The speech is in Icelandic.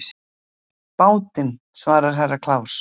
Bátinn, svaraði Herra Kláus.